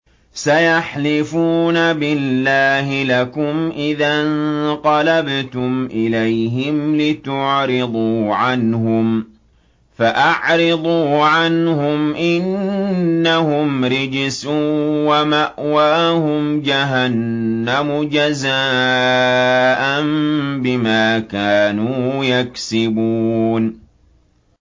سَيَحْلِفُونَ بِاللَّهِ لَكُمْ إِذَا انقَلَبْتُمْ إِلَيْهِمْ لِتُعْرِضُوا عَنْهُمْ ۖ فَأَعْرِضُوا عَنْهُمْ ۖ إِنَّهُمْ رِجْسٌ ۖ وَمَأْوَاهُمْ جَهَنَّمُ جَزَاءً بِمَا كَانُوا يَكْسِبُونَ